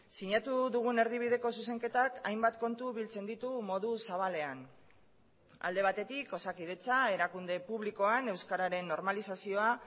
sinatu dugun erdibideko zuzenketak hainbat kontu biltzen ditu modu zabalean alde batetik osakidetza erakunde publikoan euskararen normalizazioa